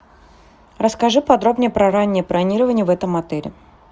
расскажи подробнее про раннее бронирование в этом отеле